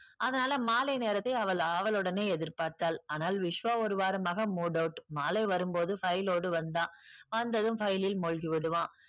அதனால மாலை நேரத்தை அவள் ஆவலுடனே எதிர் பார்த்தாள். ஆனால் விஸ்வா ஒரு வாரமாக mood out. மாலை வரும் போது file ஓடு வந்தான். வந்ததும் file ல் மூழ்கி விடுவான்.